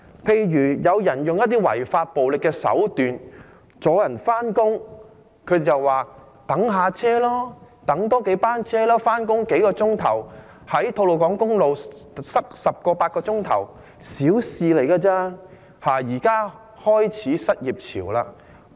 例如有人使用一些違法的暴力手段，阻礙市民上班，他們便叫大家多等數班車，認為用數小時上班，在吐露港公路塞8至10小時，亦只是小事情而已。